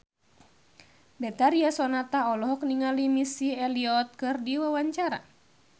Betharia Sonata olohok ningali Missy Elliott keur diwawancara